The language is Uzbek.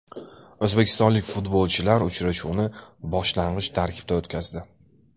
O‘zbekistonlik futbolchilar uchrashuvni boshlang‘ich tarkibda o‘tkazdi.